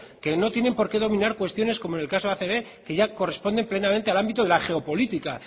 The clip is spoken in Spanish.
que no tienen por qué dominar cuestiones como en el caso acb que ya corresponde plenamente al ámbito de la geopolítica